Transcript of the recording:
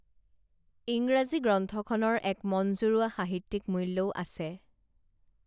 ইংৰাজী গ্ৰন্থখনৰ এক মনজুৰোৱা সাহিত্যিক মূল্যও আছে